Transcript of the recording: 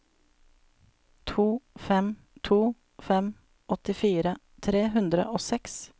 to fem to fem åttifire tre hundre og seks